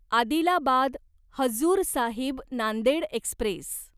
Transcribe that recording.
Adilabad Hazur Sahib Nanded Express